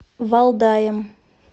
валдаем